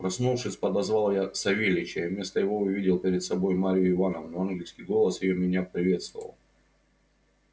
проснувшись подозвал я савельича и вместо его увидел перед собою марью ивановну ангельский голос её меня приветствовал